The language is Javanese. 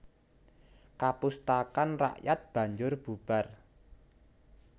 Kapustakan rakyat banjur bubar